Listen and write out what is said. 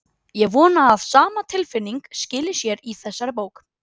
Ég vona að sama tilfinning skili sér í þessari bók.